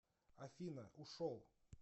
афина ушел